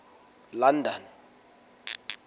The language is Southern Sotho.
london